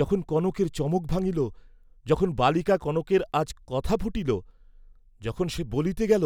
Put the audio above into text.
যখন কনকের চমক ভাঙ্গিল, যখন বালিকা কনকের আজ কথা ফুটিল, যখন সে বলিতে গেল,